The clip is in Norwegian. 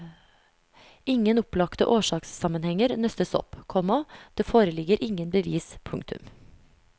Ingen opplagte årsakssammenhenger nøstes opp, komma det foreligger ingen bevis. punktum